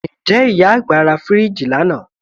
Ǹjẹ́ ìyá àgbà ra fíríìjì lánàá